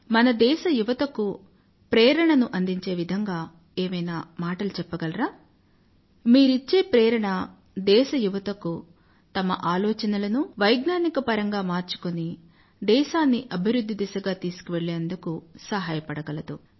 మన దేశ యువతకు ప్రేరణను అందించే విధంగా ఏవైనా మాటలు చెప్పగలరా మీరిచ్చే ప్రేరణ దేశ యువతకు తమ ఆలోచనలను వైజ్ఞానికపరంగా మార్చుకుని దేశాన్ని అభివృధ్ధి దిశగా తీశుకువెళ్ళేందుకు సహాయపడగలదు